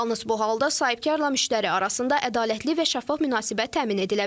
Yalnız bu halda sahibkarla müştəri arasında ədalətli və şəffaf münasibət təmin edilə bilər.